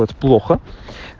это плохо